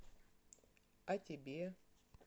а тебе